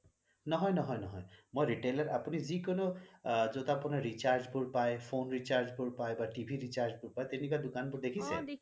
নহয় নহয় নহয় মই retailer আপুনি যি কোনো যত আপোনাৰ recharge bur পাই phone recharge বোৰ পাই বা TV recharge বোৰ পাই তেনেকুৱা দোকান বোৰ দেখিছে